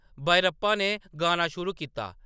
बायरप्पा ने गाना शुरू कीता ।